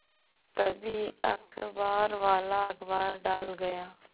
तभी अखबारवाला अखबार डाल गया